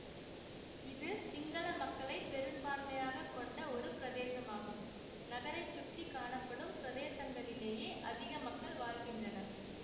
இது சிங்கள மக்களை பெரும்பான்மையாக கொண்ட ஒரு பிரதேசமாகும் நகரைசுற்றி காணப்படும் பிரதேசங்களிலேயே அதிக மக்கள் வாழ்கின்றனர்